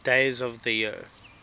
days of the year